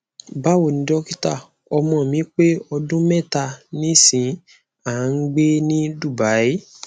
bawoni dokita omo mi pe odun meta nisin a n a n gbe ni dubai